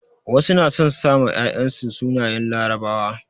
Wasu na son sa ma 'ya'yan su sunayen larabawa.